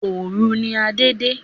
Òòru ni Adé de